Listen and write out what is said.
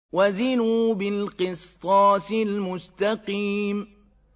وَزِنُوا بِالْقِسْطَاسِ الْمُسْتَقِيمِ